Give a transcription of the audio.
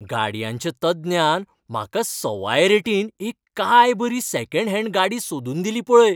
गाडयांच्या तज्ञान म्हाका सवाय रेटीन एक काय बरी सॅकंड हँड गाडी सोदून दिली पळय.